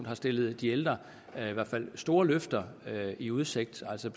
har stillet de ældre store løfter i udsigt altså